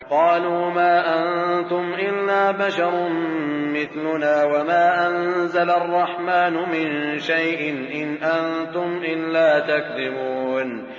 قَالُوا مَا أَنتُمْ إِلَّا بَشَرٌ مِّثْلُنَا وَمَا أَنزَلَ الرَّحْمَٰنُ مِن شَيْءٍ إِنْ أَنتُمْ إِلَّا تَكْذِبُونَ